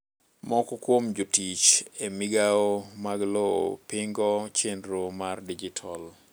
moko kuom jotich e migao mag lowo pingo chenro mar dijital